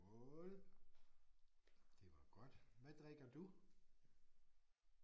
Skål det var godt. Hvad drikker du?